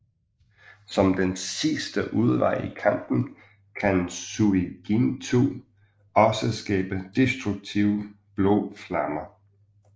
Som en sidste udvej i kampen kan Suigintou også skabe destruktive blå flammer